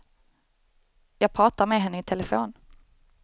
Jag pratar med henne i telefon.